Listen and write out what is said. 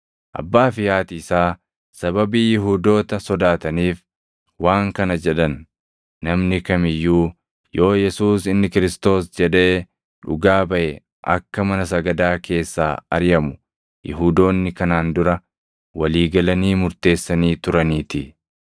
Abbaa fi haati isaa sababii Yihuudoota sodaataniif waan kana jedhan; namni kam iyyuu yoo Yesuus inni Kiristoos + 9:22 yookaan Masiihicha jedhee dhugaa baʼe akka mana sagadaa keessaa ariʼamu Yihuudoonni kanaan dura walii galanii murteessanii turaniitii.